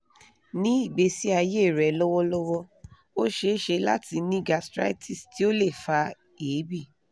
ni igbesi aye re lọwọlọwọ o ṣeṣe lati ni gastritis ti o le fa eebi